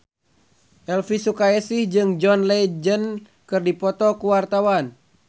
Elvy Sukaesih jeung John Legend keur dipoto ku wartawan